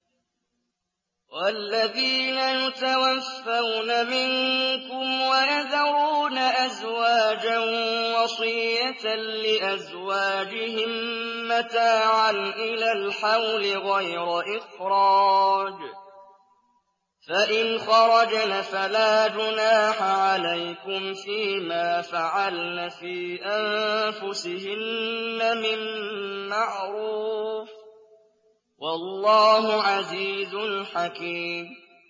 وَالَّذِينَ يُتَوَفَّوْنَ مِنكُمْ وَيَذَرُونَ أَزْوَاجًا وَصِيَّةً لِّأَزْوَاجِهِم مَّتَاعًا إِلَى الْحَوْلِ غَيْرَ إِخْرَاجٍ ۚ فَإِنْ خَرَجْنَ فَلَا جُنَاحَ عَلَيْكُمْ فِي مَا فَعَلْنَ فِي أَنفُسِهِنَّ مِن مَّعْرُوفٍ ۗ وَاللَّهُ عَزِيزٌ حَكِيمٌ